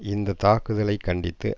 இந்த தாக்குதலை கண்டித்து